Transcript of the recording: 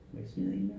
Må jeg smide en mere?